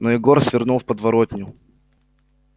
но егор свернул в подворотню